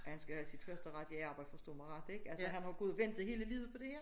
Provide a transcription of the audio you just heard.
Han skal jo have sit første rigitge arbjede forstå mig ret ik altså han har jo gået og ventet hele livet på det her